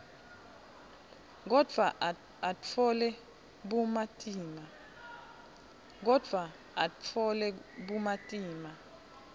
kodvwa atfole bumatima